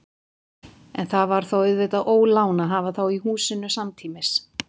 En það var auðvitað ólán að hafa þá í húsinu samtímis.